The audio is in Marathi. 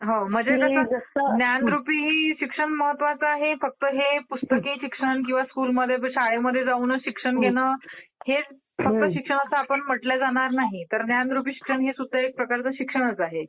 म्हणजे जसं ज्ञानरुपी शिक्षण महत्वाचं आहे की हे पुस्तकी शिक्षण किंवा शाळेमध्ये जाऊनच शिक्षण घेणं हेच फक्त शिक्षण म्हटलं जाणार नाही तर ज्ञानरुपी शिक्षण हे सुद्धा एक प्रकारचं शिक्षणच आहे.